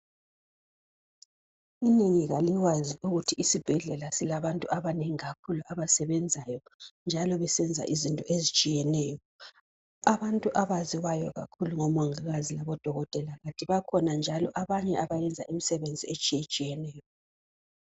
Inengi lalikwazi ukuthi isibhedlela silabantu abanengi kakhulu abasebenzayo njalo besenza izinto ezitshiyeneyo. Abantu abaziwayo kakhulu ngomongikazi labodokotela kanti bakhona njalo abanye abayenza imisebenzi etshiyetshiyeneyo